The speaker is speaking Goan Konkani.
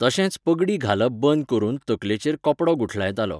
तशेंच पगडी घालप बंद करून तकलेचेर कपडो गुठलायतालो.